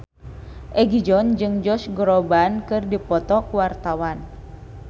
Egi John jeung Josh Groban keur dipoto ku wartawan